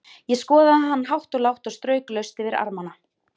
Ég skoðaði hann hátt og lágt og strauk laust yfir armana.